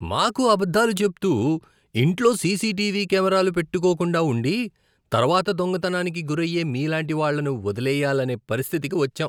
మాకు అబద్ధాలు చెప్తూ, ఇంట్లో సీసీటీవీ కెమెరాలు పెట్టుకోకుండా ఉండి, తర్వాత దొంగతనానికి గురయ్యే మీలాంటి వాళ్లను వదిలేయ్యాలనే పరిస్థితికి వచ్చాం.